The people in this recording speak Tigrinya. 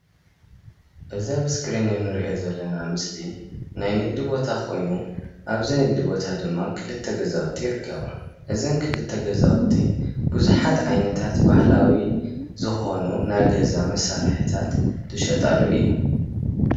እዚ ኣብ እስክሪን እንረእዮ ዘለና ምስሊ ናይ ንግዲ ቦታ ኮይኑ ኣብዚ ንግዲ ቦታ ደማ ክልተ ገዛውቲ ይርከባ። እዘን ክልተ ገዛውቲ ብዙሓት ዓይነታት ባህላዊ ዝኮኑ ናይ ገዛ መሳርሕታት ዝሸጣሉ እዩ።